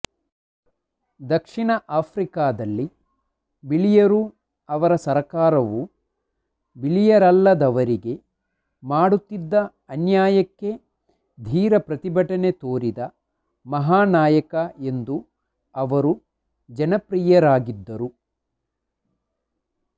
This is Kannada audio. ದಕ್ಷಿಣ ಆಫ್ರಿಕದಲ್ಲಿ ಬಿಳಿಯರೂ ಅವರ ಸರ್ಕಾರವೂ ಬಿಳಿಯರಲ್ಲದವರಿಗೆ ಮಾಡುತ್ತಿದ್ದ ಅನ್ಯಾಯಕ್ಕೆ ಧೀರ ಪ್ರತಿಭಟನೆ ತೋರಿದ ಮಹಾನಾಯಕ ಎಂದು ಅವರು ಜನಪ್ರಿಯರಾಗಿದ್ದರು